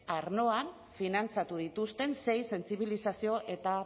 arloan finantzatu dituzten sei sentsibilizazio eta